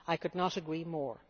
I could not agree more.